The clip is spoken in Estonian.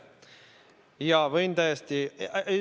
Jaa, võin täiesti ...